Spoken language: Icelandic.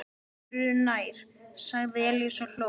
Öðru nær, sagði Elías og hló.